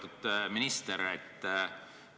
Lugupeetud minister!